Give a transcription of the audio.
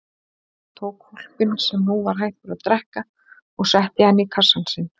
Hann tók hvolpinn sem nú var hættur að drekka og setti hann í kassann sinn.